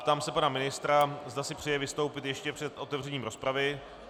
Ptám se pana ministra, zda si přeje vystoupit ještě před otevřením rozpravy.